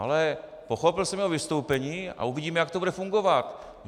Ale pochopil jsem jeho vystoupení a uvidíme, jak to bude fungovat.